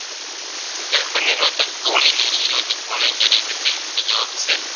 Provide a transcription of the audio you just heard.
ગર્ભ નિરોધક ગોળીની શોધ કોણે કરી હતી તો જવાબ છે